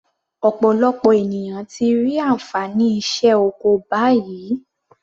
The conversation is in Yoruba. Ọ̀pọ̀lọpọ̀ ènìyàn ti rí ànfàní iṣẹ́ oko báyìí.